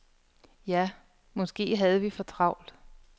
Ja, måske havde vi for travlt.